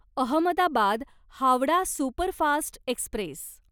Ahmedabad Howrah superfast Express